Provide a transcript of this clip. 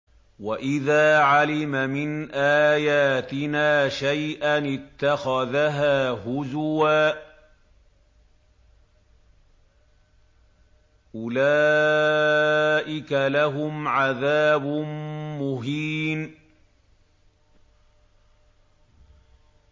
وَإِذَا عَلِمَ مِنْ آيَاتِنَا شَيْئًا اتَّخَذَهَا هُزُوًا ۚ أُولَٰئِكَ لَهُمْ عَذَابٌ مُّهِينٌ